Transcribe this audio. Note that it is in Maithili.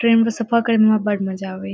ट्रैन में सफर करने में बढ़ न जावे।